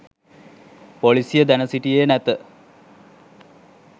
පොලිසිය දැන සිටියේ නැත